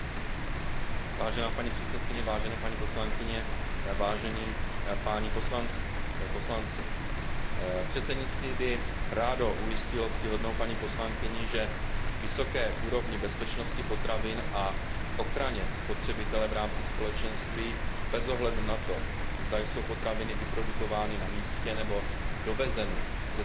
Vážená paní předsedkyně, vážené paní poslankyně, vážení páni poslanci, předsednictví by rádo ujistilo paní poslankyni, že vysoké úrovni bezpečnosti potravin a ochraně spotřebitele v rámci Společenství bez ohledu na to, zda jsou potraviny vyprodukovány na místě nebo dovezeny ze třetích zemí,